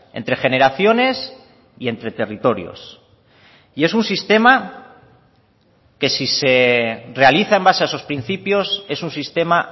entre generaciones y entre territorios y es un sistema que si se realiza en base a esos principios es un sistema